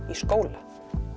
skóla